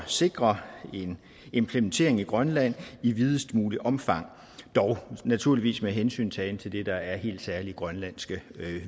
sikre en implementering i grønland i videst muligt omfang dog naturligvis med hensyntagen til det der er helt særlige grønlandske